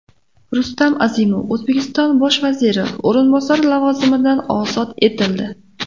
Rustam Azimov O‘zbekiston bosh vaziri o‘rinbosari lavozimidan ozod etildi .